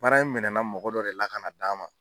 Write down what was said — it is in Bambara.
Baara in minɛnna mɔgɔ dɔ de la ka na d'a ma.